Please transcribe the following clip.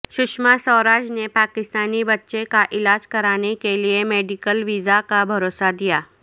سشما سوراج نے پاکستانی بچے کا علاج کرانے کے لئے میڈیکل ویزا کا بھروسہ دیا